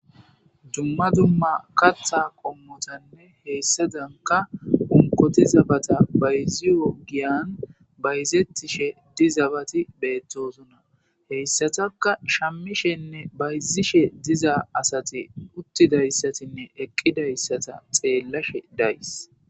dumma dumma katta qommotanne heyssadanka unqoti zabata bayzi woggiyan bayzettishe di zabati beettosuna heyssataka shammishenne bayzishe diza asati uttidayssatinne eqqidayssata xeellashe days